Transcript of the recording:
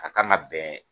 A kan ka bɛn